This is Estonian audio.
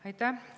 Aitäh!